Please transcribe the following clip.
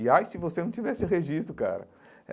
E ai, se você não tivesse registro, cara.